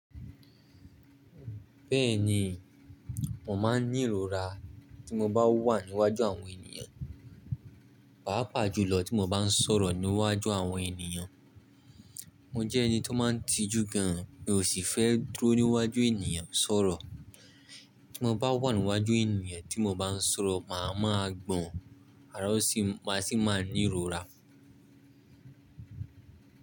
Bẹ́ẹ̀ni, mo máa ń ní ìrora tí mo bá wà níwájú àwọn ènìyàn, pàápàá jùlọ tí mo bá ń sọ̀rọ̀ níwájú àwọn ènìyàn. Mo jẹ́ ẹni tó máa ń tijú gan an mi ò sì fẹ́ dúró níwájú ènìyàn sọ̀rọ̀. Tí mo bá wà níwájú ènìyàn tí mo bá ń sọ̀rọ̀, màá ma gbọ̀n àrá o sì máa sì máa ní ìrora.